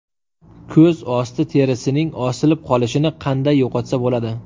Ko‘z osti terisining osilib qolishini qanday yo‘qotsa bo‘ladi?.